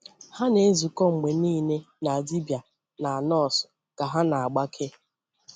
Hà na-ezukọ mgbe niile na dibịa na nọọsụ ka ha na-agbake.